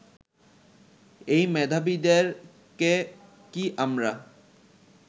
এই মেধাবীদেরকে কি আমরা